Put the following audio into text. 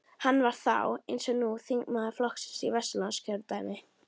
Hann var þá, eins og nú, þingmaður flokksins í Vesturlandskjördæmi.